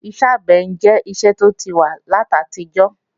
Iṣẹ́ àgbẹ̀ jẹ́ iṣẹ́ tó ti wà láti àtijọ́